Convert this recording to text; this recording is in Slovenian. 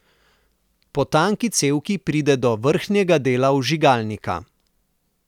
Po tanki cevki pride do vrhnjega dela vžigalnika.